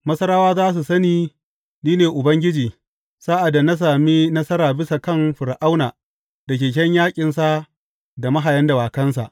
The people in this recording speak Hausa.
Masarawa za su sani ni ne Ubangiji sa’ad da na sami nasara bisa kan Fir’auna, da keken yaƙinsa, da mahayan dawakansa.